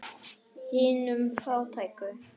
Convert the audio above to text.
Hinum fátæku.